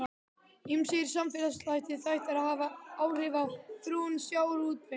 Ýmsir samfélagslegir þættir hafa áhrif á þróun sjávarútvegs.